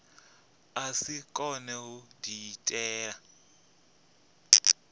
a si kone u diitela